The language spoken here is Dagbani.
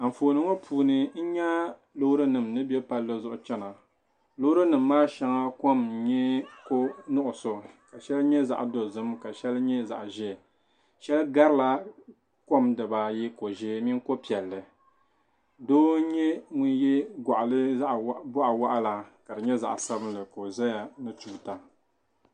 Anfooni ŋɔ puuni n nya loori nima ni bɛ palli zuɣu chana loori nima maa shɛŋa kɔm n nyɛ ko nuɣusu ka sheli nyɛ zaɣa dozim ka sheli nyɛ zaɣa ʒee sheli gabi la kɔm dibaa ayi ko ʒee mini ko piɛlli doo n nyɛ ŋun yɛ gɔɣa waɣila ka di nyɛ zaɣa sabinli ka o zaya ni tuuta.